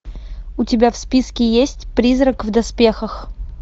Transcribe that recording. у тебя в списке есть призрак в доспехах